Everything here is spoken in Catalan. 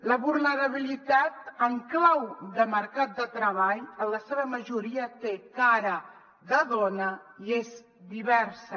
la vulnerabilitat en clau de mercat de treball en la seva majoria té cara de dona i és diversa